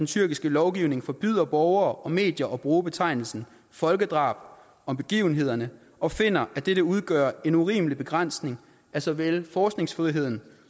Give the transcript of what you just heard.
tyrkisk lovgivning forbyder borgere og medier at bruge betegnelsen folkedrab om begivenhederne og finder at dette udgør en urimelig begrænsning af såvel forskningsfriheden